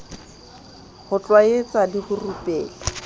ho tlwaetsa le ho rupela